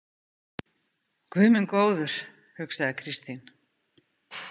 Guð minn góður, hugsaði Kristín.